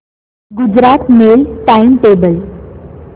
Gujarat mail time table